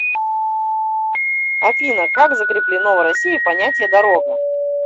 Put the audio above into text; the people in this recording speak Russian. афина как закреплено в россии понятие дорога